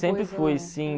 Sempre fui, sim.